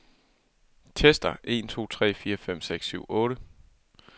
Tester en to tre fire fem seks syv otte.